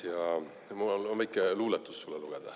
Ja mul on väike luuletus sulle lugeda.